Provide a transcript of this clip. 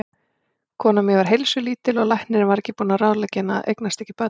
Konan mín var heilsulítil og læknirinn var búinn að ráðleggja henni að eignast ekki börn.